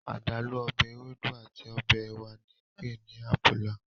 Adalu ọbẹ ewedu ati ọbẹ ẹwa ni ǹpe ni 'abula'